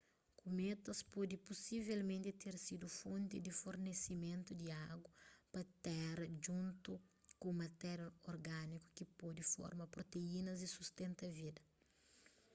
kumétas pode pusivelmenti ter sidu fonti di fornesimentu di agu pa téra djuntu ku matéria orgániku ki pode forma proteínas y sustenta vida